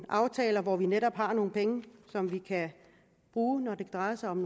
aftaler hvor vi netop har nogle penge som vi kan bruge når det drejer sig om